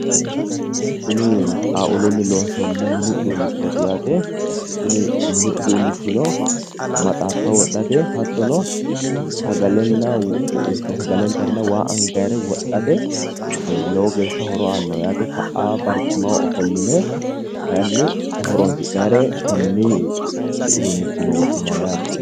Kuni xaa'ulunni loonsoonni minni uduunnichooti yaate kuni mini uduunnichino maxaaffa wodhate hattono sagale intarenna waa angannire wodhate lowo geeshsha horo aannoha yaate ka'aa barcimaho afolline kayiinni horoonsi'nare konni uduunnichi iima wodhinayi yaate.